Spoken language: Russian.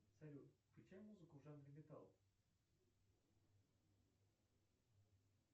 салют включай музыку в жанре металл